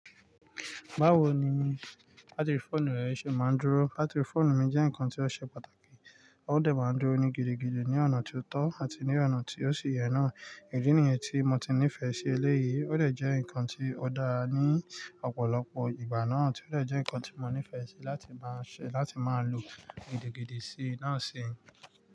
Báwo ni bátìrì fóònù rẹ ṣe máa ń dúró? Bátìrì fóònù mi jẹ́ nǹkan tí ó ṣe pàtàkì, ó dẹ̀ máa ń dúró ni gidigidi ní ọ̀nà tí ó tọ́ àti ní ọ̀nà tí ó ṣe yẹn náà. Ìdí nìyẹn tí mo ti nífẹ̀ẹ́ sí elé yìí, ó dẹ̀ jẹ́ nǹkan tí ó dára ní ọ̀pọ̀lọpọ̀ ìgbà náà, tí ó dẹ̀ jẹ́ nǹkan tí mo nífẹ̀ẹ́ sí láti máa ṣe láti máa lò gidigidi sí náà sì.